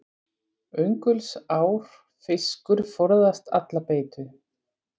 Öngulsár fiskur forðast alla beitu.